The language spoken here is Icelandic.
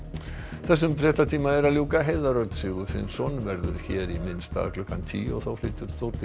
þessum fréttatíma er að ljúka Heiðar Örn Sigurfinnsson verður hér í minn stað klukkan tíu og þá flytur Þórdís